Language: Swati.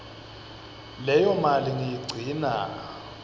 leyo mali ngiyigcina